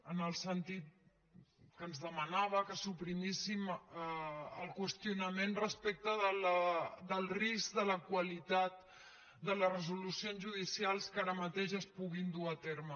en el sentit que ens demanava que suprimíssim el qüestionament respecte del risc de la qualitat de les resolucions judicials que ara mateix es puguin dur a terme